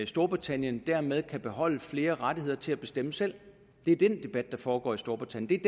storbritannien dermed kan beholde flere rettigheder til at bestemme selv det er den debat der foregår i storbritannien